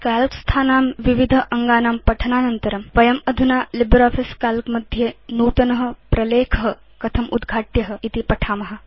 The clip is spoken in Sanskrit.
काल्क स्थानां विविध अङ्गानां पठनानन्तरं वयम् अधुना लिब्रियोफिस Calc मध्ये नूतन प्रलेख कथम् उद्घाट्य इति पठिष्याम